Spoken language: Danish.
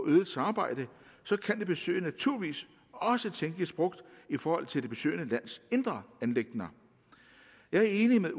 øget samarbejde kan et besøg naturligvis også tænkes brugt i forhold til det besøgende lands indre anliggender jeg er enig med